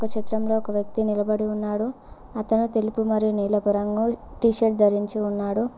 చిత్రం లొ ఒక వ్యక్తి నిలబడి ఉన్నాడు అతను తెలుపు మరి నీలపు రంగు టీ షర్ట్ ధరించి ఉన్నాడు.